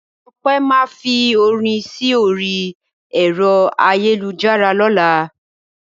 Ọpẹ́ máa fi orin sí orí ẹ̀rọ ayélujára lọ́la.